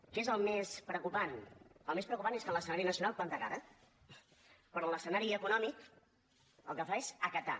què és el més preocupant el més preocupant és que en l’escenari nacional planta cara però en l’escenari econòmic el que fa és acatar